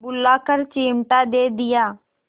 बुलाकर चिमटा दे दिया